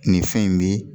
Nin fɛn in bi